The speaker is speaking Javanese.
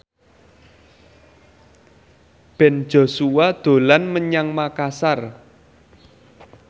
Ben Joshua dolan menyang Makasar